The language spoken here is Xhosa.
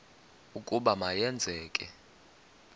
ukuba ma yenzeke